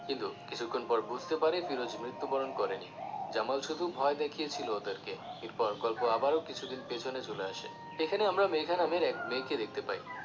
কিন্তু কিছুক্ষন পর বুঝতে পারে ফিরোজ মৃত্যুবরন করেনি জামাল শুধু ভয় দেখিয়েছিলো ওদেরকে এরপর গল্প আবারো কিছুদিন পেছনে চলে আসে এখানে আমরা মেঘা নামের এক মেয়েকে দেখতে পাই